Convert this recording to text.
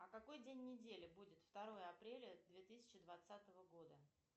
а какой день недели будет второе апреля две тысячи двадцатого года